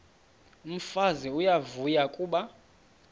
umfazi uyavuya kuba